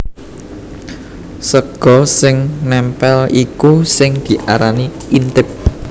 Sega sing nèmpèl iku sing diarani intip